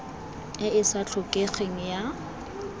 e e sa tlhokegeng ya